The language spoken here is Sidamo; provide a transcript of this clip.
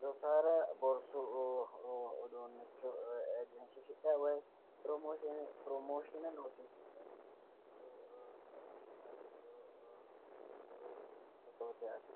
loossaare borsu uduunnicho egensiisidhayi woyi piromooshiine loosiisidhayi abbidhiwo fotooti yaate.